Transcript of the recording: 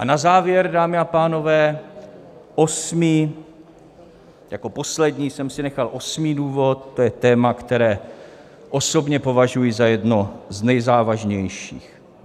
A na závěr, dámy a pánové, osmý, jako poslední jsem si nechal osmý důvod, to je téma, které osobně považuji za jedno z nejzávažnějších.